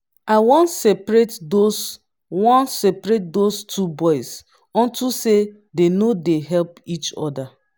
i wan seperate those wan seperate those two boys unto say dey no dey help each other